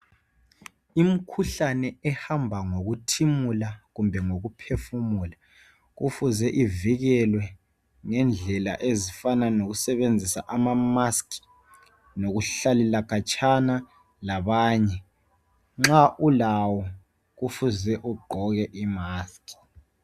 Imkhuhlane ehamba ngokuthimula kumbe ngokuphefumula kufuze ivikelwe ngendlela ezifana kokusebenzisa amamask lokuhlalela khatshana labanye. Nxa ulawo kufuze ugqoke imask.